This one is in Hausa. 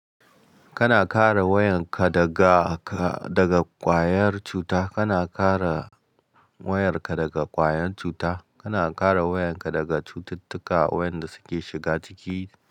Kana kare wayarka daga ka, daga ƙwayar cuta. Kana kare wayarka daga ƙwayar cuta. Kana kare wayarka daga cututtuka wayanda suke shiga jiki.